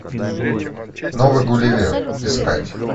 новый гулливер искать